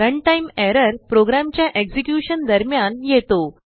run time errorप्रोग्रामच्याexecutionदरम्यान येतो